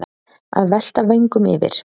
Að velta vöngum yfir